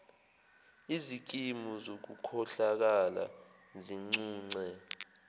izikimu zokukhohlakala zincunce